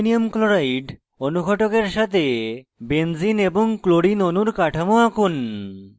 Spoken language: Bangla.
অনার্দ্র অ্যালুমিনিয়াম chloride alcl3 অনুঘটকের সাথে benzene c6h6 এবং chlorine clcl অণুর কাঠামো আঁকুন